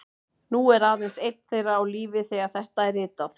Nú er aðeins einn þeirra á lífi þegar þetta er ritað